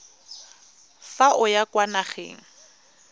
fa o ya kwa nageng